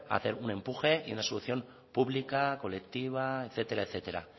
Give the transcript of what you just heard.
hacer un empuje y una solución pública colectiva etcétera etcétera